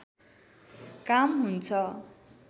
काम हुन्छ